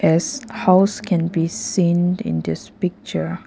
This house can be seen in this picture.